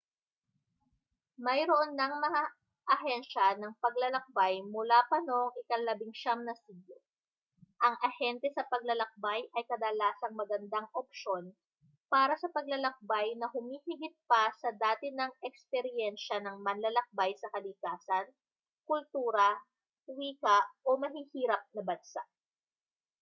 mayroon nang mga ahensiya ng paglalakbay mula pa noong ika-19 na siglo ang ahente sa paglalakbay ay kadalasang magandang opsyon para sa paglalakbay na humihigit pa sa dati nang ekspiryensa ng manlalakbay sa kalikasan kultura wika o mahihirap na bansa